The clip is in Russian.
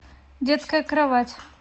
детская кровать